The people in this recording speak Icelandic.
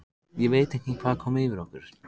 Ég veit ekki hvað kom yfir okkur.